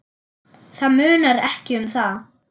Það munar ekki um það.